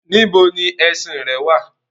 Níbo ni ẹṣin-ìn rẹ wà?